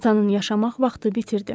Atanın yaşamaq vaxtı bitirdi.